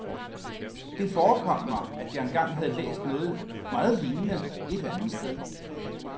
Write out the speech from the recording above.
Det forekom mig, at jeg engang havde læst noget meget lignende, et andet sted.